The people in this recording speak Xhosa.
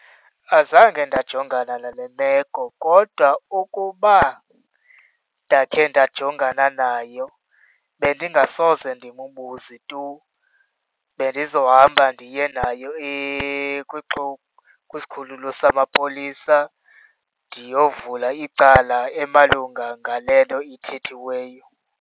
Azange ndajongana nale meko kodwa ukuba ndakhe ndajongana nayo, bendingasoze ndimbuze tu. Bendizohamba ndiye nayo kwisikhululo samapolisa ndiyovula icala emalunga ngale nto ithethiweyo.